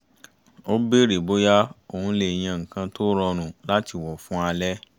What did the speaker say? ó bèrè bóyá òun le yá nǹkan tó rọrùn láti wọ̀ fún alẹ́